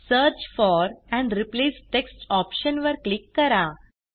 search for and replace text option वर click करा